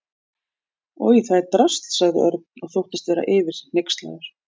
Oj, en það drasl sagði Örn og þóttist vera yfir sig hneykslaður.